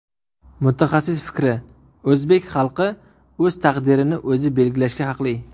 Mutaxassis fikri: O‘zbek xalqi o‘z taqdirini o‘zi belgilashga haqli.